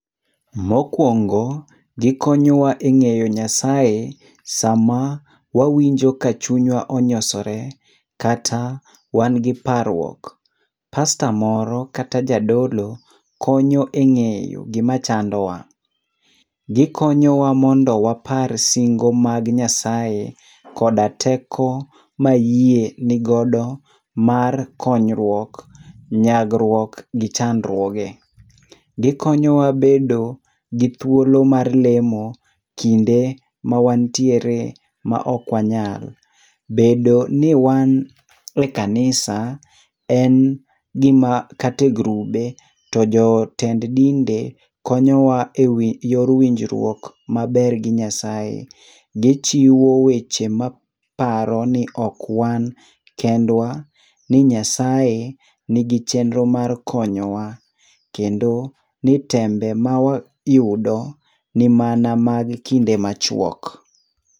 Mokuongo, gikonyowa e ng'eyo Nyasaye sama wawinjo ka chunywa onyosore, kata wan gi parruok. Pastor moro kata jadolo konyo eng'eyo gima chandowa. Gikonyowa mondo wapar singo mag Nyasaye, koda teko mayie nigodo mar konyruok, nyagruok gi chandruoge. Gikonyowa bedo gi thuolo mar lemo kinde ma wantiere maok wanyal. Bedo ni wan e kanisa en gima kata e grube to jotend dinde konyowa e yor winjruok maber gi Nyasaye. Gichiwo weche maparo ni ok wan kendwa , ni Nyasaye ni gichenro mar konyowa. Kendo ni tembe ma wayudo ni mana mag kende machuok.